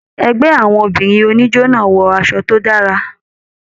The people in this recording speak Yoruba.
Ẹgbẹ àwọn obìnrin oníjó náà wọ aṣọ tó dára.